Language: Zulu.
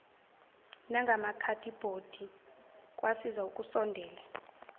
nangamakhadibhodi kwasiza ukusondela